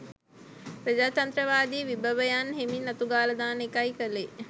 ප්‍රජාතන්ත්‍රවාදී විභවයන් හෙමින් අතුගාලා දාන එකයි කළේ